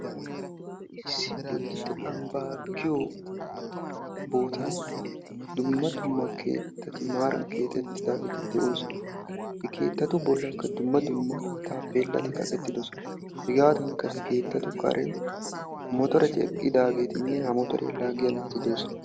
Issi Bodditte Ambbaa giyo bootan dumma dumma keettati maran kexettidaageeti de"oosona. He keettatu bollaanikka dumma dumma tappeelati kaqetidosona. Hegaadankka he keettatu karen motoreti eqidaageetinne ha motoriyaa laaggiyaa naati doosona.